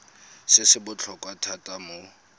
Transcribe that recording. se se botlhokwa thata mo